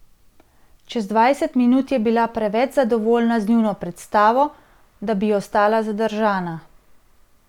Čez dvajset minut je bila preveč zadovoljna z njuno predstavo, da bi ostala zadržana.